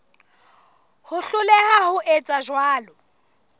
ho hloleha ho etsa jwalo